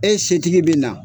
E setigi bɛ na.